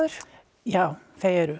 já þau eru